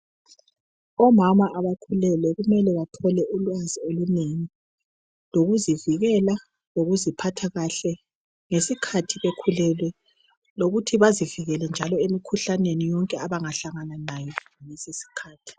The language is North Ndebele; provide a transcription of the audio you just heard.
Omama abakhulelweyo kumele bathole ulwazi olunengi lokuzivikela lokuziphatha kuhle ngesikhathi bekhulelwe lokuthi bazivikele njalo emikhuhlaneni yonke abangahlangana layo ngalesisikhathi.